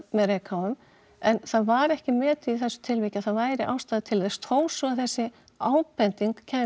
með reykháfum en það var ekki metið í þessu tilfelli að það væri ástæða til þess þó svo að þessi ábending kæmi